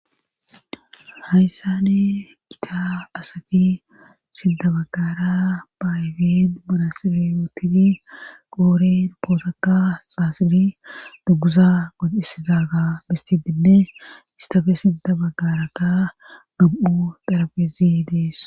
hayssani kita asati sindabagara baayfin bolasiri wotini qooren pootoka xaasiri duguza god isidaga bistidinne istafe sidda baggarakka dub7u dharabezi dees